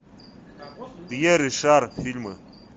пьер ришар фильмы